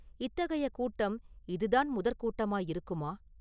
இத்தகைய கூட்டம் இதுதான் முதற் கூட்டமாயிருக்குமா?